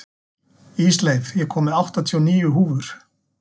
Ísleif, ég kom með áttatíu og níu húfur!